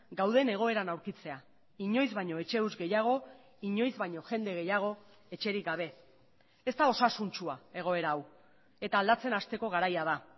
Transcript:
gauden egoeran aurkitzea inoiz baino etxe huts gehiago inoiz baino jende gehiago etxerik gabe ez da osasuntsua egoera hau eta aldatzen hasteko garaia da